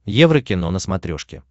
еврокино на смотрешке